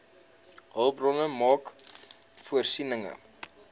hulpbronne maak voorsiening